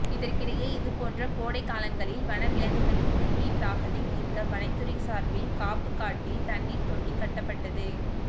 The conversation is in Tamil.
இதற்கிடையே இதுபோன்ற கோடை காலங்களில் வன விலங்குகளின் குடிநீர் தாகத்தை தீர்க்க வனத்துறை சார்பில் காப்புக்காட்டில் தண்ணீர் தொட்டி கட்டப்பட்டது